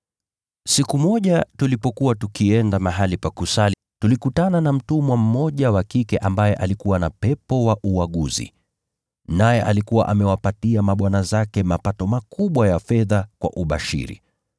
Siku moja, tulipokuwa tukienda mahali pa kusali, tulikutana na mtumwa mmoja wa kike ambaye alikuwa na pepo wa uaguzi. Naye alikuwa amewapa mabwana zake mapato makubwa ya fedha kwa ubashiri.